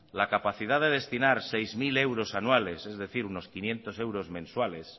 la capacidad de destinar seis mil euros anuales es decir unos quinientos euros mensuales